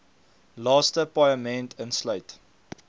laaste paaiement insluit